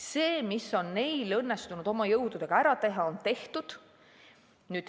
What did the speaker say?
See, mis on neil õnnestunud oma jõududega ära teha, on tehtud.